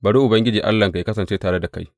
Bari Ubangiji Allahnka yă kasance tare da kai.’